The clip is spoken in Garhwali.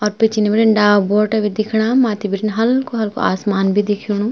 और पिछने बीटिन डाल बोटा भी दिखणा माथी बीटिन हल्कू-हल्कू आसमान भी दिखेणु।